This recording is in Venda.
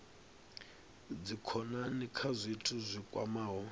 dzikhonani kha zwithu zwi kwamaho